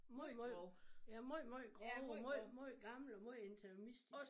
Måj måj ja måj måj grov og måj måj gammel og måj interimistisk